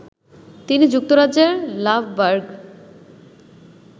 তিনি যুক্তরাজ্যের লাভবার্গ